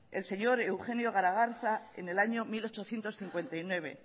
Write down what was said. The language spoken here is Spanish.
el señor eugenio garagarza en el año mil ochocientos cincuenta y nueve